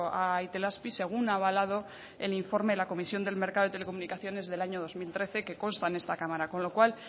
a itelazpi según ha avalado el informe de la comisión del mercado de telecomunicaciones del año dos mil trece que consta en esta cámara con lo cual